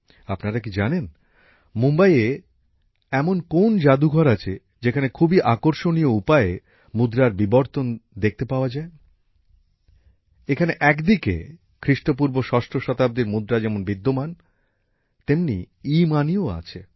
আপনারা কি জানেন মুম্বাইয়ে এমন কোন জাদুঘর আছে যেখানে খুবই আকর্ষণীয় উপায়ে মুদ্রার বিবর্তন দেখতে পাওয়া যায় এখানে এক দিকে খ্রিস্টপূর্ব ষষ্ঠ শতাব্দীর মুদ্রা যেমন বিদ্যমান তেমনি ইমানিও রয়েছে